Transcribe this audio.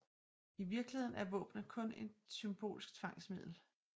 I virkeligheden er våbnene kun et symbolsk tvangsmiddel